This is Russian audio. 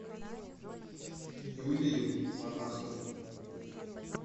юлию монахову